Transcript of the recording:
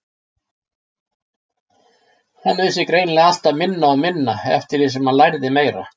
Hann vissi greinilega alltaf minna og minna eftir því sem hann lærði meira.